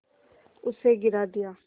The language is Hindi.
उसे गिरा दिया